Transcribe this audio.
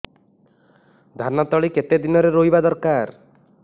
ଧାନ ତଳି କେତେ ଦିନରେ ରୋଈବା ଦରକାର